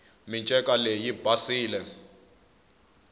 minceka leyi yi basile